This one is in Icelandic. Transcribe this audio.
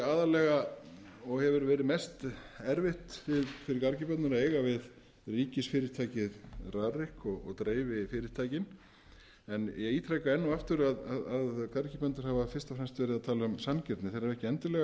aðallega og hefur verið mest erfitt fyrir garðyrkjubændur að eiga við ríkisfyrirtækið rarik og dreififyrirtækin en ég ítreka enn og aftur að garðyrkjubændur hafa fyrst og fremst verið að tala um sanngirni þeir hafa ekki endilega fullyrt